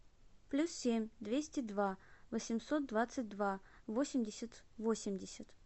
плюс семь двести два восемьсот двадцать два восемьдесят восемьдесят